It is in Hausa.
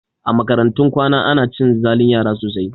A makarantun kwana ana cin zalin yara sosai